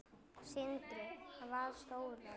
Sindri: Hvað stóran?